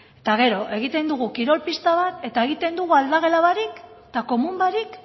eta gero egiten dugu kirol pista bat eta egiten dugu aldagela barik eta komun barik